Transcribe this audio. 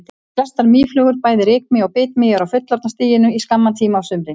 Flestar mýflugur, bæði rykmý og bitmý eru á fullorðna stiginu í skamman tíma á sumrin.